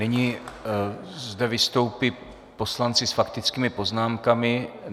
Nyní zde vystoupí poslanci s faktickými poznámkami.